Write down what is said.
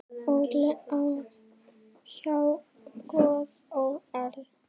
Óli á. há joð ó ell.